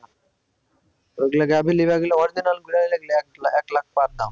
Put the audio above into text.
ওগুলা original এক lakh per দাম